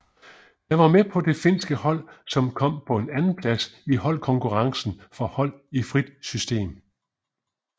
Han var med på det finske hold som kom på en andenplads i holdkonkurrencen for hold i frit system